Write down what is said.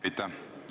Aitäh!